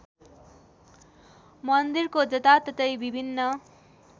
मन्दिरको जताततै विभिन्न